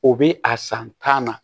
O bi a san tan na